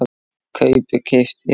kaupi- keypti